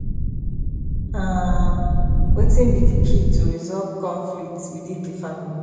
um wetin be di key to resolve conflicts within di family